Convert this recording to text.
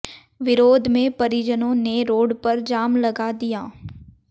विरोध में परिजनों ने रोड पर जाम लगा दिया